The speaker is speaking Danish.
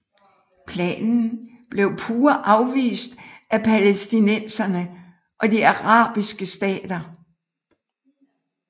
Planen blev pure afvist af palæstinenserne og de arabiske stater